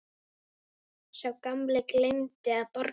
Sá gamli gleymdi að borga.